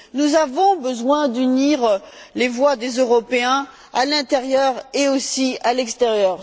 Nous avons besoin d'unir les voix des Européens à l'intérieur et aussi à l'extérieur.